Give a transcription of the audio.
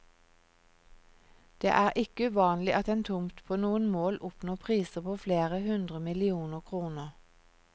Det er ikke uvanlig at en tomt på noen mål oppnår priser på flere hundre millioner kroner.